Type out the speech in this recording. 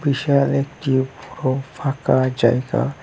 পাশে আরেকটিও ফ ফাঁকা জায়গা।